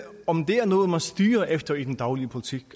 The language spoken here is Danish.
om det er noget man styrer efter i den daglige politik